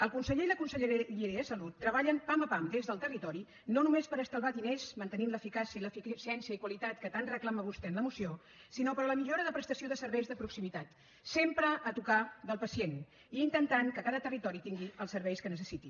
el conseller i la conselleria de salut treballen pam a pam des del territori no només per estalviar diners mantenint l’eficàcia i l’eficiència i qualitat que tant reclama vostè en la moció sinó per la millora de prestació de serveis de proximitat sempre a tocar del pacient i intentant que cada territori tingui els serveis que necessiti